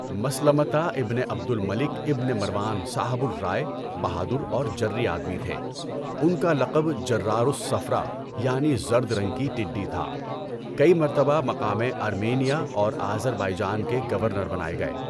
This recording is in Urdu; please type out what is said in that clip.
مَسْلَمَة ابن عبد الملک ابن مروان صاحبُ الرائے، بہادر اور جری آدمی تھے۔ ان کا لقب جرار الصَّفْراء یعنی زرد رنگ کی ٹڈی تھا۔ کئی مرتبہ مقامِ ارمینیہ اور آذر بائیجان کے گورنر بنائے گئے۔